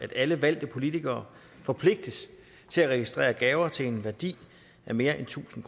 at alle valgte politikere forpligtes til at registrere gaver til en værdi af mere end tusind